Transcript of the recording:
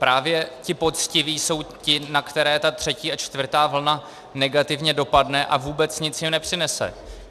Právě ti poctiví jsou ti, na které ta třetí a čtvrtá vlna negativně dopadne a vůbec nic jim nepřinese.